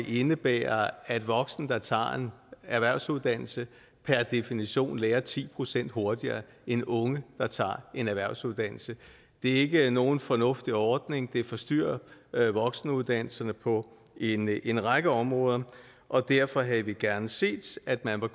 indebærer at voksne der tager en erhvervsuddannelse per definition lærer ti procent hurtigere end unge der tager en erhvervsuddannelse det er ikke nogen fornuftig ordning det forstyrrer voksenuddannelserne på en en række områder og derfor havde vi gerne set at man var